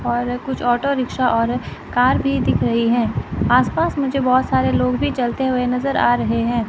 और कुछ auto rickshaw और कार भी दिख रही हैं आसपास मुझे बहुत सारे लोग भी चलते हुए नजर आ रहे हैं।